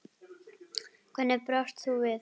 Hvernig brást þú við?